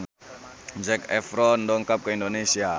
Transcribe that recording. Zac Efron dongkap ka Indonesia